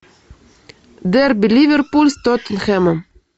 дерби ливерпуль с тоттенхэмом